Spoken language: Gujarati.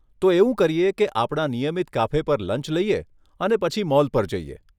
તો એવું કરીએ કે આપણા નિયમિત કાફે પર લંચ લઈએ અને પછી મોલ પર જઈએ.